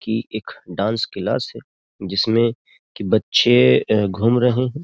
की एक dance class है जिसमें कि बच्चे घूम रहे हैं ।